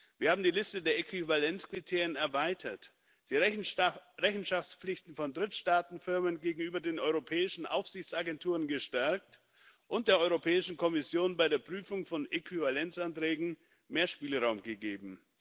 Wir haben die Liste der Äquivalenzkriterien erweitert, die Rechenschaftspflichten von Drittstaatenfirmen gegenüber den europäischen Aufsichtsagenturen gestärkt und der Europäischen Kommission bei der Prüfung von Äquivalenzanträgen mehr Spielraum gegeben.